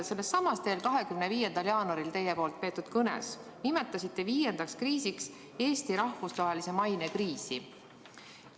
Sellessamas 25. jaanuaril peetud kõnes te nimetasite viiendaks kriisiks Eesti rahvusvahelise maine kriisi.